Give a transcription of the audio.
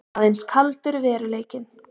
Aðeins kaldur veruleikinn.